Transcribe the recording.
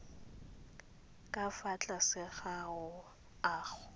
ka fa tlase ga ago